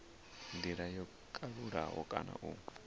ndila yo kalulaho kana u